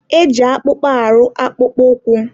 e ji akpụkpa arụ akpụkpọ ụkwụ.